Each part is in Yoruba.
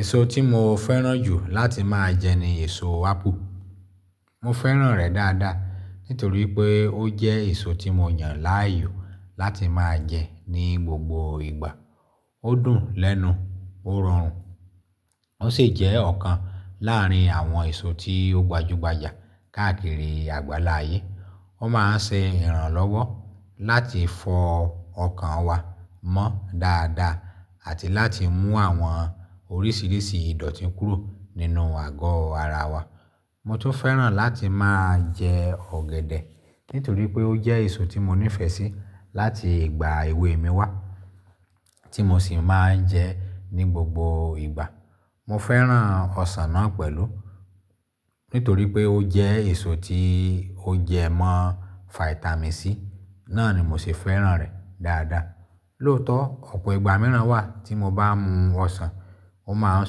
Èso tí mo fẹ́ràn jù láti máa jẹ ni èso ápù. Mo fẹ́ràn rẹ̀ dáadáa nítorí pé ó jẹ́ èso tí mo yàn láàyò láti máa jẹ ní gbogbo ìgbà. Ó dùn lẹ́nu, ó rọrùn, ó sì jẹ́ ọ̀kan láàrin àwọn èso tí ó gbajúgbajà káàkiri àgbálá ayé. Ó máa ń ṣe ìrànlọ́wọ́ láti fọ ọkàn wa mọ́ dáadáa àti láti mú àwọn oríṣiríṣi ìdọ̀tí kúrò nínú àgọ́ ara wa. Mo tún fẹ́ràn láti máa jẹ ọ̀gẹ̀dẹ̀ nítorí pé ó jẹ́ èso tí mo nífẹ̀ẹ́ sí láti ìgbà èwe mi wá, tí mo sì máa ń jẹ ní gbogbo ìgbà. Mo fẹ́ràn ọsàn náà pẹ̀lú nítorí pé ó jẹ́ èso tí ó jẹ mọ́ fáítámì Sí, náà ni mo sì fẹ́ràn rẹ̀ dáadáa. Lóòótọ́ ọ̀pọ̀ ìgbà mìíràn wà tí mo bá mu ọsàn, ó máa ń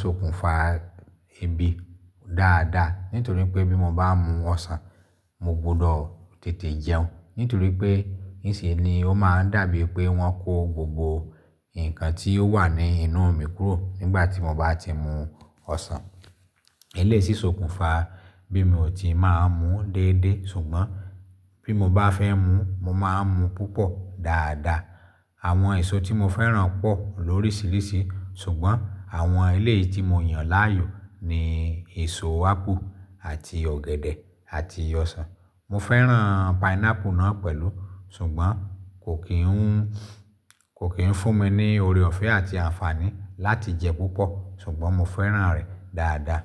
sokùnfa ebí dáadáa. Nítorí pé bí mo bá mu ọsàn, mo gbudọ̀ tètè jẹun. Nítorí pé níṣe ni ó máa ń dàbí pé wọ́n kó gbogbo nǹkan tí ó wà ní inú mi kúrò nígbà tí mo bá ti mu ọsàn. Eléyìí sì sokùnfa bí mo ò tíì m ọ mu déédéé. Ṣùgbọ́n bí mo bá fẹ́ mu, mo máa ń mu púpọ̀ dáadáa. Àwọn èso tí mo fẹ́ràn pọ̀ lóríṣiríṣi, ṣùgbọ́n àwọn eléyìí tí mo yàn láàyò ni èso ápù àti ọ̀gẹ̀dẹ̀ àti ọsàn. Mo fẹ́ràn pineapple náà pẹ̀lú, ṣùgbọ́n kò kí ń fún mi ní oore ọ̀fẹ́ àti àǹfààní láti jẹ púpọ̀. Ṣùgbọ́n mo fẹ́ràn rẹ̀ dáadáa.